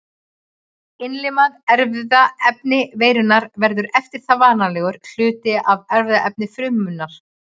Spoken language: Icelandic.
Innlimað erfðaefni veirunnar verður eftir það varanlegur hluti af erfðaefni frumunnar.